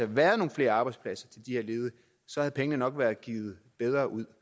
været nogle flere arbejdspladser til de her ledige så havde pengene nok være givet bedre ud